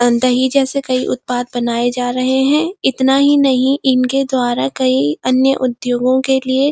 अहह दही जैसे कई उत्पाद बनाए जा रहें हैं इतना ही नहीं इनके द्वारा कई अन्य उद्योगों के लिए --